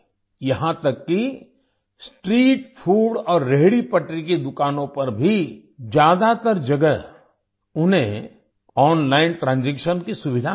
यहाँ तक कि स्ट्रीट फूड और रेहड़ीपटरी की दुकानों पर भी ज्यादातर जगह उन्हें ओनलाइन ट्रांजैक्शन की सुविधा मिली